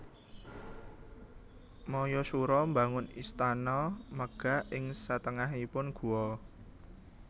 Mayasura mbangun istana megah ing satengahing guwa